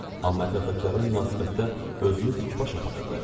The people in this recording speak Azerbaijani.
Amma ətrafdakılara münasibətdə özünü dikbaş aparırdı.